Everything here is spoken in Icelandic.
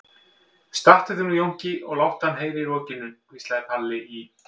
Stattu þig nú Jónki og láttu hann heyra í rokinu, hvíslaði Palli í